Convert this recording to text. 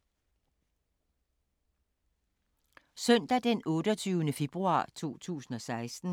Søndag d. 28. februar 2016